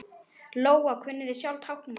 Lóa: Kunnið þið sjálfir táknmál?